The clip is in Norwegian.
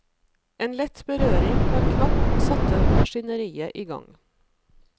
En lett berøring på en knapp satte maskineriet i gang.